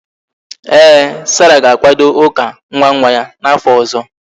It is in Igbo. Ee, sarah ga-akwado ụka nwa nwa ya n'afọ ọzọ